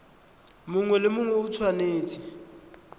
mongwe le mongwe o tshwanetse